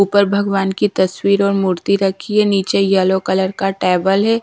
ऊपर भगवान की तस्वीर और मूर्ति रखी है नीचे यल्लो कलर का टेबल है।